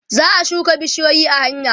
za'a shuka bishiyoyi a hanya